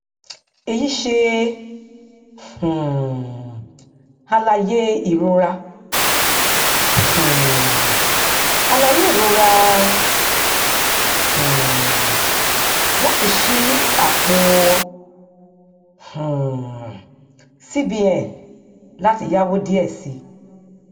èyí ṣe um àlàyé ìrora um àlàyé ìrora um láti ṣí àpò um cbn láti yáwó díẹ sí